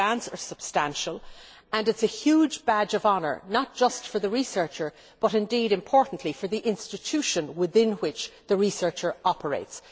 The grants are substantial, and it is a huge badge of honour, not just for the researcher, but indeed, importantly, for the institution within which the researcher operates.